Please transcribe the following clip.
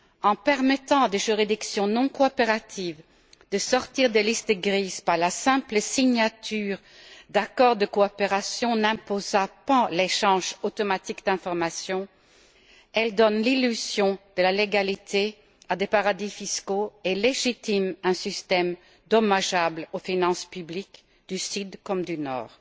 En permettant à des juridictions non coopératives de sortir des listes grises par la simple signature d'accords de coopération n'imposant pas l'échange automatique d'information, elles donnent l'illusion de la légalité à des paradis fiscaux et légitiment un système dommageable aux finances publiques du Sud comme du Nord.